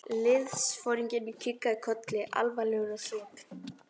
Liðsforinginn kinkaði kolli, alvarlegur á svip.